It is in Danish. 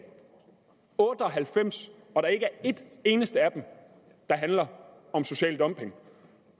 98 og der ikke er ét eneste af dem der handler om social dumping